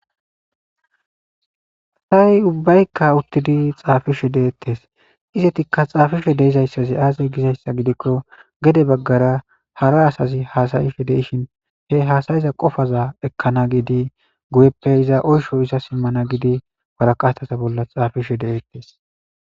Asay ubbayka uttidi xafishe deetes. Izeti xaafizay aaze gizaysa gidiko gede bagara hara asazi haasi'she de'ishin he haasa'iza qofaza ekkanas giidi guyeooe oysha zaarana giidi waraqataza bolla xaafishe deetees.